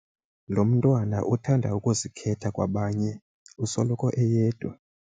Lo mntwana uthanda ukuzikhetha kwabanye usoloko eyedwa.